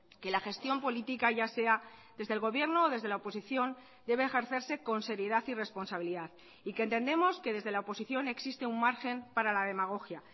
que la gestión política ya sea desde el gobierno o desde la oposición debe ejercerse con seriedad y responsabilidad y que entendemos que desde la oposición existe un margen para la demagogia